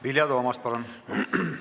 Vilja Toomast, palun!